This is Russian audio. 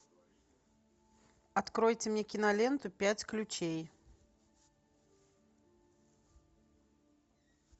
откройте мне киноленту пять ключей